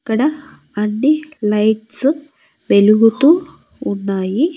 ఇక్కడ అన్ని లైట్స్ వెలుగుతూ ఉన్నాయి.